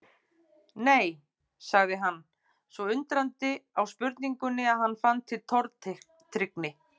Nei. sagði hann, svo undrandi á spurningunni að hann fann til tortryggni.